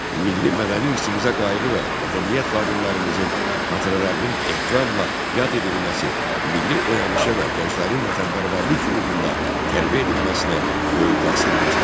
Milli mədəni irsimizə qayğı və mədəniyyət xadimlərimizin xatirələrinin ehtiramla yad edilməsi milli oyanışa və gənclərin vətənpərvərlik ruhunda tərbiyə edilməsinə böyük təsir göstərdi.